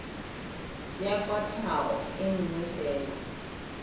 ya kwatlhao e nngwe fela